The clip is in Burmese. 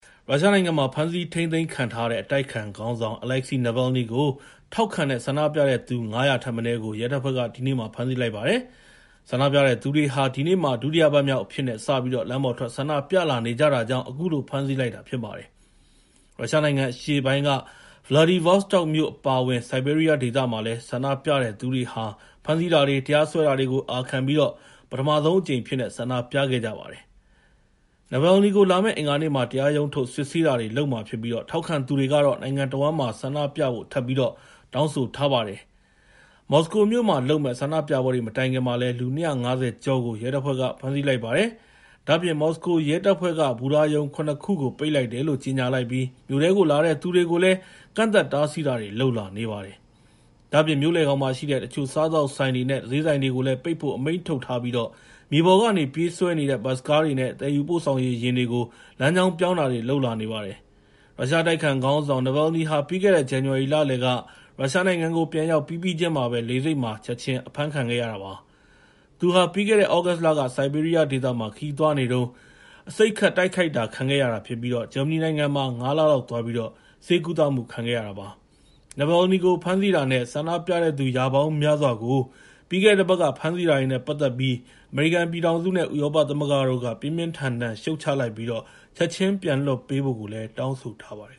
ရုရှားနိုင်ငံမှာ ဖမ်းဆီးထိန်းသိမ်းခံထားရတဲ့ အတိုက်အခံခေါင်းဆောင် Navalny ကို ထောက်ခံတဲ့ ဆန္ဒပြတဲ့သူ ၅၀၀ ထက်မနည်းကို ရဲတပ်ဖွဲ့က ဒီနေ့ ဖမ်းဆီးလိုက်ပါတယ်။ ဆန္ဒပြတဲ့သူတွေဟာ ဒီနေ့မှာ ဒုတိယပတ်မြောက်အဖြစ်နဲ့ စပြီးတော့ လမ်းပေါ်ထွက် ဆန္ဒပြလာနေကြတာကြောင့် အခုလို ဖမ်းဆီးလိုက်တာ ဖြစ်ပါတယ်။ ရုရှားနိုင်ငံအရှေ့ပိုင်းက Vladivostok မြို့ အပါအဝင် ဆိုက်ဘေးရီးယား ဒေသမှာလည်း ဆန္ဒပြတဲ့သူတွေဟာ ဖမ်းဆီးတာတွေ တရားစွဲတာတွေကို အာခံပြီး ပထမဆုံးအကြိမ် ဆန္ဒပြခဲ့ကြပါတယ်။ Navalny ကို လာမယ့် အင်္ဂါနေ့မှာ တရားရုံးထုတ် စစ်ဆေးတာတွေ လုပ်မှာဖြစ်ပြီး ထောက်ခံသူတွေကတော့ နိုင်ငံတဝန်းမှာ ဆန္ဒပြဖို့ ထပ်ပြီးတော့ တောင်းဆိုလိုက်ပါတယ်။ မော်စကိုမြို့မှာလုပ်မယ့် ဆန္ဒပြပွဲတွေ မတိုင်ခင်မှာလည်း လူ ၂၅၀ ကျော်ကို ရဲတပ်ဖွဲ့က ဖမ်းဆီးလိုက်ပါတယ်။ ဒါ့အပြင် မော်စကိုရဲတပ်ဖွဲ့က ဘူတာရုံ ၇ ခုကို ပိတ်လိုက်တယ်လို့ ကြေညာလိုက်ပြီး မြို့ထဲကိုလာတဲ့သူတွေကိုလည်း ကန့်သတ် တားဆီးတာတွေ လုပ်လာနေပါတယ်။ ဒါ့အပြင် မြို့လယ်ခေါင်မှာရှိတဲ့ တချို့ စားသောက်ဆိုင်တွေနဲ့ ဈေးဆိုင်တွေကို ပိတ်ဖို့ အမိန့်ထုတ်ထားပြီး မြေပေါ်ကနေ ပြေးဆွဲနေတဲ့ ဘတ်စ်ကားတွေနဲ့ သယ်ယူပို့ဆောင်ရေးယာဉ်တွေကို လမ်းကြောင်းပြောင်းတာတွေ လုပ်လာနေပါတယ်။ ရုရှားအတိုက်အခံခေါင်းဆောင် Navalny ဟာ ပြီးခဲ့တဲ့ ဇန်နဝါရီလလယ်က ရုရှားနိုင်ငံကို ပြန်ရောက်ပြီးပြီးချင်းမှာပဲ လေဆိပ်မှာ ချက်ချင်းအဖမ်းခံခဲ့ရတာ ဖြစ်ပါတယ်။ သူဟာ ပြီးခဲ့တဲ့ သြဂုတ်လက ဆိုက်ဘေးရီးယားဒေသမှာ ခရီးသွားနေတုန်း အဆိပ်ခတ် တိုက်ခိုက်တာ ခံခဲ့ရတာဖြစ်ပြီး ဂျာမနီနိုင်ငံမှာ ၅ လလောက်သွားပြီး ဆေးကုသခံရတာ ဖြစ်ပါတယ်။ Navalny ကို ဖမ်းဆီးတာနဲ့ ဆန္ဒပြတဲ့သူ ရာပေါင်းများစွာကို ပြီးခဲ့တဲ့ တပတ်က ဖမ်းဆီးတာတွေနဲ့ ပတ်သက်ပြီး အမေရိကန်ပြည်ထောင်စုနဲ့ ဥရောပသမဂ္ဂတို့က ပြင်းပြင်းထန်ထန် ရှုတ်ချလိုက်ပြီး ချက်ချင်းပြန်လွှတ်ပေးဖို့ တောင်းဆိုထားပါတယ်